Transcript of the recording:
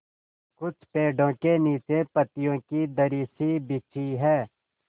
कुछ पेड़ो के नीचे पतियो की दरी सी बिछी है